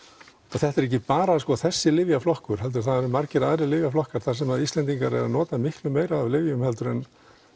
þetta er ekki bara þessi lyfjaflokkur heldur eru margir aðrir lyfjaflokkar þar sem Íslendingar eru að nota miklu meira af lyfjum heldur en